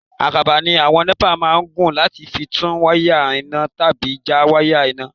Àkàbà ni àwọn NEPA máa ń gùn láti fi tún wáyà iná tàbí já wáyà iná.